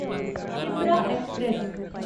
Shipra express